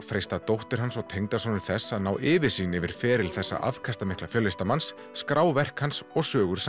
freista dóttir hans og tengdasonur þess að ná yfirsýn yfir feril þessa afkastamikla fjöllistamannsins skrá verk hans og sögur